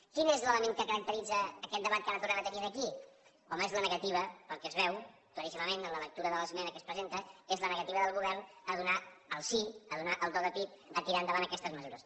quin és l’element que caracteritza aquest debat que ara tornem a tenir aquí home és la negativa pel que es veu claríssimament en la lectura de l’esmena que es presenta és la negativa del govern a donar el sí a donar el do de pit a tirar endavant aquestes mesures